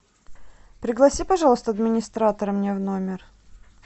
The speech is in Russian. пригласи пожалуйста администратора мне в номер